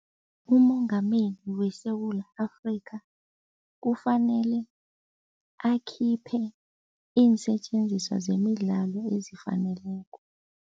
UMongameli weSewula Afrikha kufanele akhiphe iinsetjenziswa zemidlalo ezifaneleko.